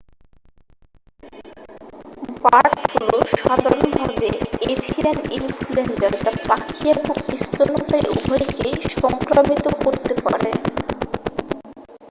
bird flu সাধারণভাবে avian influenza যা পাখি এবং স্তন্যপায়ী উভয়কেই সংক্রামিত করতে পারে